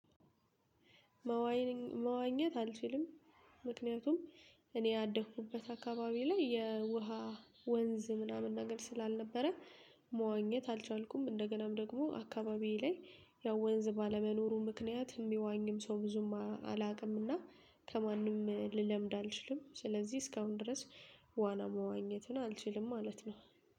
መዋኘት አልችልም። ምክንያቱም እኔ ያደኩበት አካባቢ ላይ የውሃ ወንዝ ምናምን ነገር ስላልነበረ መዋኘት አልቻልኩም። እንደገናም ደግሞ አካባቢ ላይ ያው ወንዝ ባለመኖሩ ምክንያት የሚዋኝም ሰው ብዙም አላውቅምና ከማንም ልለምድ አልችልም። ስለዚህ እስካሁን ድረስ ዋና መዋኘትን አልችልም ማለት ነው